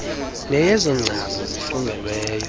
neyezo nkcazo zifungelweyo